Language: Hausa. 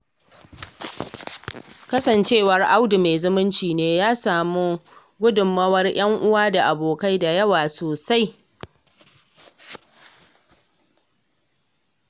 Kasancewar Audu mai zumunci ne, ya sami gudunmawa daga 'yan uwa da abokai da yawa sosai.